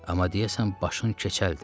Amma deyəsən başın keçəldir.